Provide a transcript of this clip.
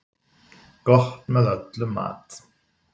Gott með öllum mat.